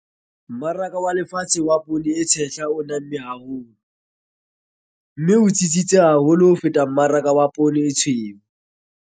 Mmaraka wa lefatshe wa poone e tshehla o namme haholo, mme o tsitsitse haholo ho feta mmaraka wa poone e tshweu.